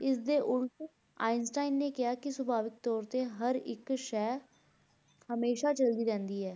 ਇਸ ਦੇ ਉਲਟ ਆਈਨਸਟੀਨ ਨੇ ਕਿਹਾ ਕਿ ਸੁਭਾਵਿਕ ਤੌਰ ਤੇ ਹਰ ਇੱਕ ਸ਼ੈ ਹਮੇਸ਼ਾ ਚਲਦੀ ਰਹਿੰਦੀ ਹੈ।